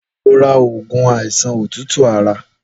Lọ rà awọn ógún áisán ótútú àrá